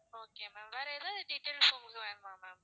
okay ma'am வேற ஏதாவது details உங்களுக்கு வேணுமா ma'am